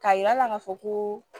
K'a yir'a la k'a fɔ koo